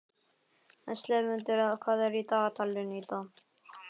slefmundur, hvað er í dagatalinu í dag?